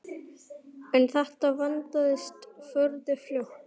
En þetta vandist furðu fljótt.